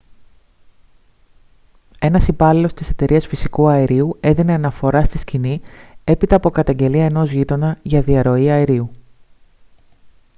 ένας υπάλληλος της εταιρείας φυσικού αερίου έδινε αναφορά στη σκηνή έπειτα από καταγγελία ενός γείτονα για διαρροή αερίου